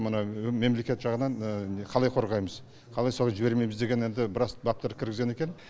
мына мемлекет жағынан қалай қорғаймыз қалай солай жібермейміз деген енді біраз баптар кіргізген екен